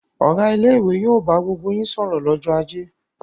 Ọ̀gá ilé-ìwé yóò bá gbogbo yín sọ̀rọ̀ lọ́jọ́ ajé!